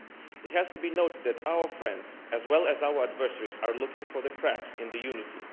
It has to be noted that our friends as well as our adversaries are looking for cracks in our unity.